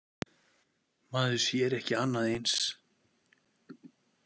Maður sér ekki annað eins.